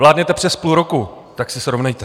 Vládnete přes půl roku, tak se srovnejte.